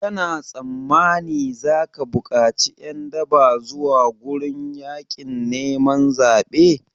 Kana tsammani zaka bukaci ƴan daba zuwa gurin yaƙin neman zaɓe?